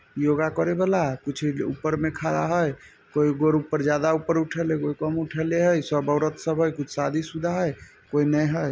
योगा करे वला कुछ ऊपर में खड़ा हई कोई गोर ऊपर ज्यादा ऊपर उठेले एगो कम उठेले हई सब औरत सब हई कोई शादी-शुदा हई कोई ने हई।